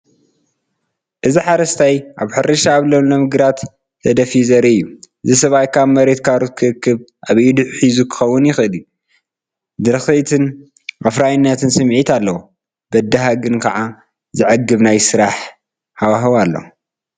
እዚ ሓደ ሓረስታይ ኣብ ሕርሻ ኣብ ለምለም ግራት ተደፊኡ ዘርኢ እዩ። እቲ ሰብኣይ ካብ መሬት ካሮት ክእክብ ኣብ ኢዱ ሒዙ ክኸውን ይኽእል እዩ። ድርኺትን ኣፍራይነትን ስምዒት ኣለዎ! በዳሂ ግን ከኣ ዘዕግብ ናይ ስራሕ ሃዋህው ኣለዎ።